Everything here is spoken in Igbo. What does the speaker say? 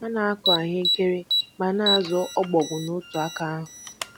Ha na-akụ ahụekere ma na-azụ ọbọgwụ n'otu aka ahụ.